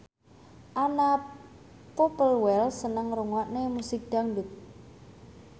Anna Popplewell seneng ngrungokne musik dangdut